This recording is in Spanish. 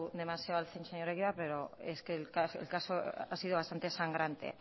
demasiado al señor egibar pero es que el caso ha sido bastante sangrante